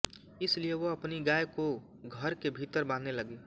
इसलिये वह अपनी गाय को घर के भीतर बांधने लगी